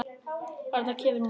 Þarna kemur hún þá!